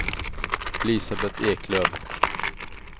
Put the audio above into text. Elisabeth Eklöf